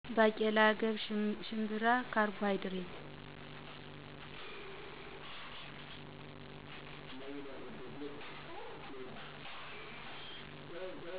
ባቄላ፣ ገብሰ፣ ሽምብራ ካርቦሀይድሬት፣